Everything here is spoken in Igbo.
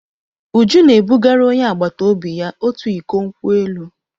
Uju na-ebugara onye agbata obi ya otu iko nkwụ elụ.